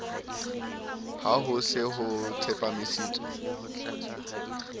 ha ho se ho tsepamisitswe